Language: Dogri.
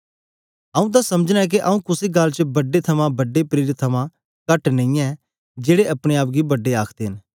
आंऊँ तां समझना ऐ के आंऊँ कुसे गल्ल च बड्डे थमां बड्डे प्रेरित थमां कट नेईयैं जेड़े अपने आप गी बड्डे आखदे न